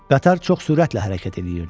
Qatar çox sürətlə hərəkət eləyirdi.